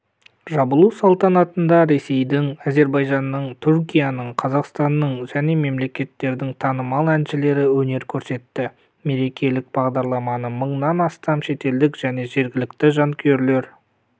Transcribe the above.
жабылу салтанатында ресейдің әзербайжанның түркияның қазақстанның және мелекеттердің танымал әншілері өнер көрсетті мерекелік бағдарламаны мың-нан астам шетелдік және жергілікті жанкүйерлер